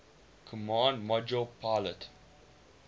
command module pilot